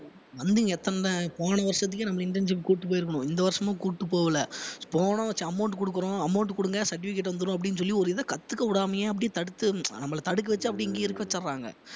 போன வருஷத்துக்கே நம்மள internship கூட்டிட்டு போயிருக்கணும் இந்த வருஷமும் கூட்டிட்டு போகல amount குடுக்கிறோம் amount குடுங்க certificate வந்துரும் அப்படின்னு சொல்லி ஒரு இதை கத்துக்க விடாமயே அப்படியே தடுத்து நம்மள தடுக்க வச்சு அப்படியே இங்கேயே இருக்க வச்சிடறாங்க